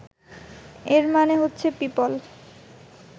এর মানে হচ্ছে পিপল